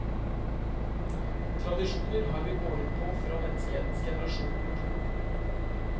Tradisjoner har vi båret på fra menneskehetens generasjon nummer to.